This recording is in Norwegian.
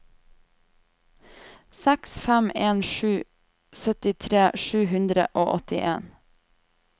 seks fem en sju syttitre sju hundre og åttien